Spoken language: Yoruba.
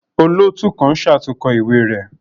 Olootu kan ṣatunkọ iwe rẹ